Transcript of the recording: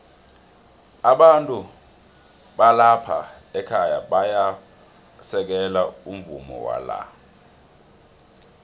abantu balapha ekhaya bayau u sekelo umvumowala